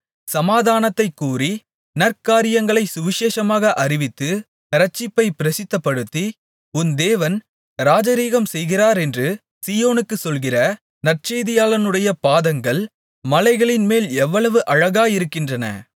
சமாதானத்தைக் கூறி நற்காரியங்களைச் சுவிசேஷமாக அறிவித்து இரட்சிப்பைப் பிரசித்தப்படுத்தி உன் தேவன் ராஜரிகம் செய்கிறாரென்று சீயோனுக்குச் சொல்கிற நற்செய்தியாளனுடைய பாதங்கள் மலைகளின்மேல் எவ்வளவு அழகாயிருக்கின்றன